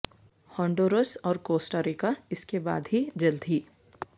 Honduras اور Costa Rica اس کے بعد ہی جلد ہی